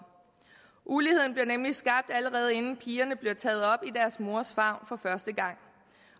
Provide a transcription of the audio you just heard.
uligheden bliver nemlig skabt allerede inden pigerne bliver taget op i deres mors favn for første gang